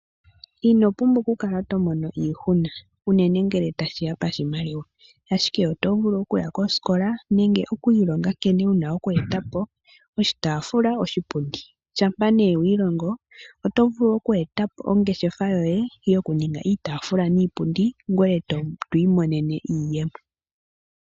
Ino pumbwa oku kala to mono iihuna, unene ngele tashiya pa shimaliwa ashike oto vulu okuya kosikola nenge oku ilonga nkene wuna oku etapo oshitaafula, oshipundi. Shampa nee wi ilongo oto vulu oku etapo ongeshefa yoye yoku ninga iitaafula niipundi ngoye to imonene iiyemo.